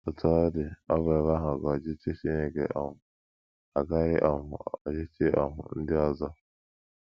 Otú ọ dị,, ọ bụ ebe ahụ ka ọchịchị Chineke um ga - akarị um ọchịchị um ndị ọzọ.